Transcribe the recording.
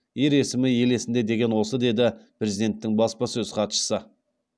ер есімі ел есінде деген осы деді президенттің баспасөз хатшысы